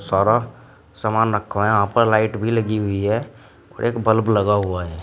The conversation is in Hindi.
सारा सामान रखा हुआ है यहां पर लाइट भी लगी हुई है और एक बल्ब लगा हुआ है।